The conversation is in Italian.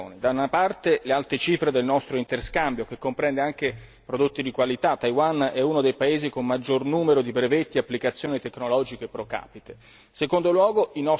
Credo che ci siano varie ragioni, da una parte le alte cifre del nostro interscambio, che comprende anche prodotti di qualità Taiwan è uno dei paesi con il maggior numero di brevetti e applicazioni tecnologiche pro capite.